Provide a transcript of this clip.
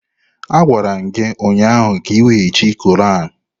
Agwara m gi ụnyahụ ka iweghachi Quran!